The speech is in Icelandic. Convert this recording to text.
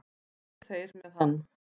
Svo fóru þeir með hann.